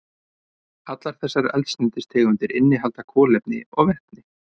Allar þessar eldsneytistegundir innihalda kolefni og vetni.